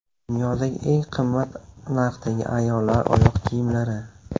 Dunyodagi eng qimmat narxdagi ayollar oyoq kiyimlari.